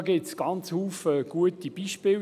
Dazu gibt es eine ganze Menge guter Beispiele.